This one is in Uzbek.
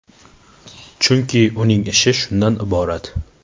Chunki, uning ishi shundan iborat.